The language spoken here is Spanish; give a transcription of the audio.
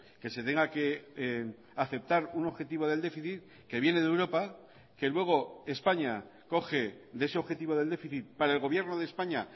que se tenga que aceptar un objetivo del déficit que viene de europa que luego españa coge de ese objetivo del déficit para el gobierno de españa